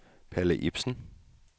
Palle Ipsen